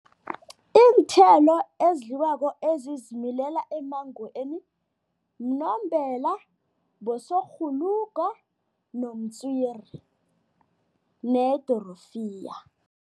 Iinthelo ezidliwako, ezizimilela emmangweni, mnombela, bosokghuluga nomtswiri nedorofiya.